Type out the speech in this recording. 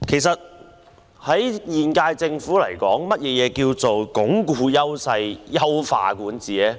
對現屆政府而言，何謂"鞏固優勢、優化管治"呢？